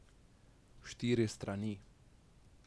Štiri strani.